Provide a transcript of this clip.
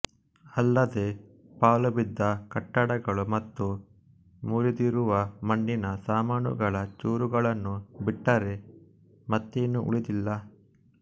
ಅಲ್ಲದೇ ಪಾಳುಬಿದ್ದ ಕಟ್ಟಡಗಳು ಮತ್ತು ಮುರಿದಿರುವ ಮಣ್ಣಿನ ಸಾಮಾನುಗಳ ಚೂರುಗಳನ್ನು ಬಿಟ್ಟರೆ ಮತ್ತೇನು ಉಳಿದಿಲ್ಲ